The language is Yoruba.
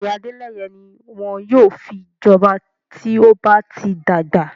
Bẹ́ẹ̀ni, Adeleye ni won yóò fi joba to ba ti dagba